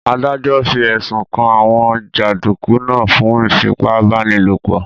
Adájọ́ fi ẹ̀sùn kan àwọn jàndùkú náà fún ìfipá-báni-lòpọ̀